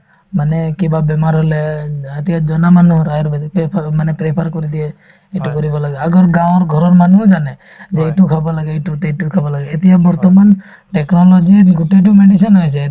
মানে কিবা বেমাৰ হলে অ এতিয়া জনা মানুহৰ আয়ুৰ্বেদিকে prefer মানে prefer কৰি দিয়ে ইটো কৰিব লাগে আগৰ গাঁৱৰ ঘৰৰ মানুহো জানে যে এইটো খাব লাগে এইটোত এইটো খাব লাগে এতিয়া বৰ্তমান technology ত গোটেইতো medicine হৈ আছে